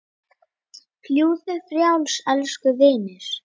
Fljúgðu frjáls, elsku vinur.